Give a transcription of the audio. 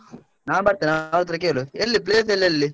ನಾನ್ ಬರ್ತೆನೆ, ಅವ್ರ ಹತ್ರ ಕೇಳು ಎಲ್ಲಿ place ಎಲ್ಲ ಎಲ್ಲಿ?